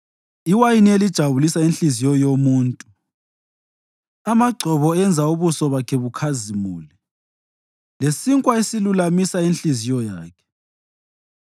iwayini elijabulisa inhliziyo yomuntu, amagcobo enza ubuso bakhe bukhazimule, lesinkwa esilulamisa inhliziyo yakhe.